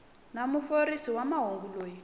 wa muofisiri wa mahungu loyi